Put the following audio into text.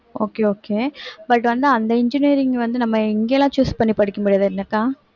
okay okay but வந்து அந்த engineering வந்து நம்ம இங்கலாம் choose பண்ணி படிக்க முடியாது இல்லக்கா